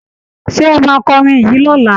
Ṣé ẹ máa kọrin yìí lọ́la?